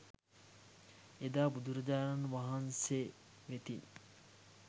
එදා බුදුරජාණන් වහන්සේ වෙතින්